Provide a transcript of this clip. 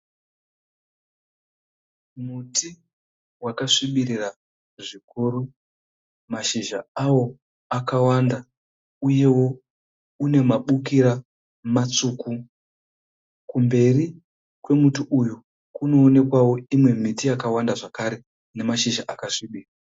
Muti wakasvibirira zvikuru. Mashizha awo akawanda uyewo une mabukira matsvuku. Kumberi kwemuti uyu kunoonekwawo imwe miti yakawanda zvakare ine zmashizha akasvibira.